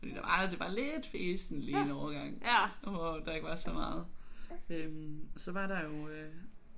Fordi der var det var lidt fesent lige en årgang hvor der ikke var så meget øh og så var der jo